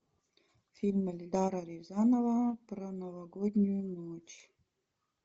фильм эльдара рязанова про новогоднюю ночь